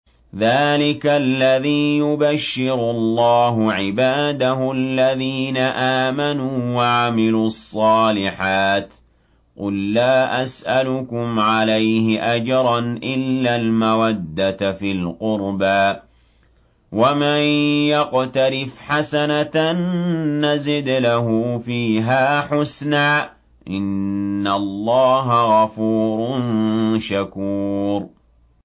ذَٰلِكَ الَّذِي يُبَشِّرُ اللَّهُ عِبَادَهُ الَّذِينَ آمَنُوا وَعَمِلُوا الصَّالِحَاتِ ۗ قُل لَّا أَسْأَلُكُمْ عَلَيْهِ أَجْرًا إِلَّا الْمَوَدَّةَ فِي الْقُرْبَىٰ ۗ وَمَن يَقْتَرِفْ حَسَنَةً نَّزِدْ لَهُ فِيهَا حُسْنًا ۚ إِنَّ اللَّهَ غَفُورٌ شَكُورٌ